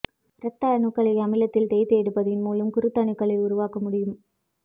இரத்த அணுக்களை அமிலத்தில் தோய்த்து எடுப்பதன் மூலம் குருத்தணுக்களை உருவாக்க முடியும்